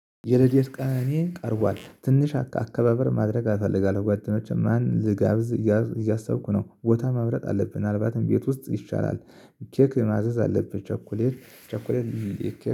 የረድኤት ቀነኔ ቀርቧል ትንሽ አከባበር ማድረግ እፈልጋለሁ ጓደኞቼ ማን ልጋብዝ እያልኩ እያሰብኩ ነው ቦታ መምረጥ አለብን ምንአልባትም ቤት ውስጥ ይሻላል። ኬክ ማዘዝ አለብን። ቸኮሌት